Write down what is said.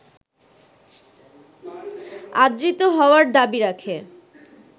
আদৃত হওয়ার দাবি রাখে